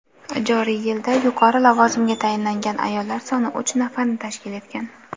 Joriy yilda yuqori lavozimga tayinlangan ayollar soni uch nafarni tashkil etgan.